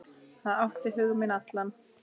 Það átti hug minn allan.